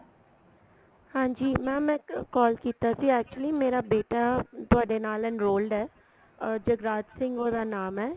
ਹਾਂਜੀ mam ਇੱਕ call ਕੀਤਾ ਸੀ actually ਮੇਰਾ ਬੇਟਾ ਤੁਹਾਡੇ ਨਾਲ enrolled ਏ ਅਸ ਜਗਰਾਜ ਸਿੰਘ ਉਹਦਾ ਨਾਮ ਏ